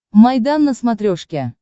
майдан на смотрешке